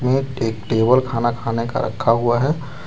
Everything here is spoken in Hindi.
एक टेबल खाना खाने का रखा हुआ है।